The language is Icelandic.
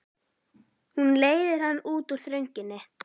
Hún leiðir hann út úr þrönginni.